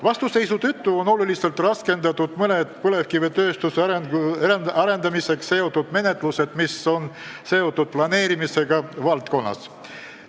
Vastuseisu tõttu on oluliselt raskendatud mõned põlevkivitööstuse arendamisega seotud menetlused, mis on seotud planeerimisega selles valdkonnas.